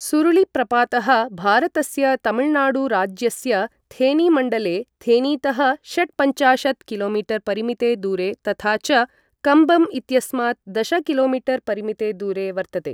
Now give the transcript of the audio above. सुरुलिप्रपातः भारतस्य तमिलनाडुराज्यस्य थेनीमण्डले थेनीतः षट्पञ्चाशत् किलो मीटर परिमिते दूरे तथा च कम्बम् इत्यस्मात् दश किलो मीटर परिमिते दूरे वर्तते।